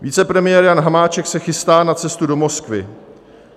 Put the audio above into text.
Vicepremiér Jan Hamáček se chystá na cestu do Moskvy.